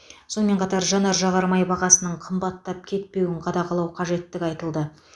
сонымен қатар жанар жағармай бағасының қымбаттап кетпеуін қадағалау қажеттігі айтылды